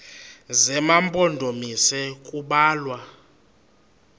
zema mpondomise kubalwa